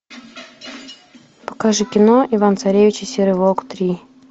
покажи кино иван царевич и серый волк три